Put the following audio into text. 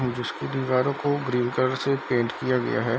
जिसकी दीवारों को ग्रीन कलर से पेंट किया गया है।